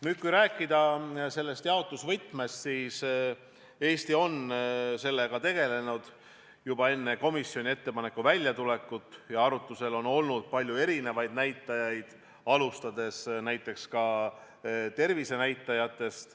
Nüüd, kui rääkida jaotusvõtmest, siis Eesti on sellega tegelenud juba enne komisjoni ettepaneku väljatulekut ja arutusel on olnud palju erisuguseid näitajaid, alustades näiteks tervisenäitajatest.